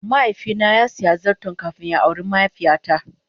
mahaifi na sa siya zarton kafin ya awre mahaifiya ta.